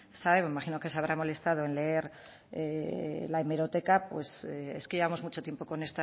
sabe me imagino que se habrá molestado en leer hemeroteca pues es que llevamos mucho tiempo